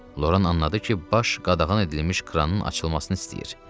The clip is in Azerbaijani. Loran anladı ki, baş qadağan edilmiş kranın açılmasını istəyir.